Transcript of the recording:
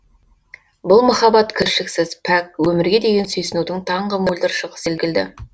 бұл махаббат кіршіксіз пәк өмірге деген сүйсінудің таңғы мөлдір шығы секілді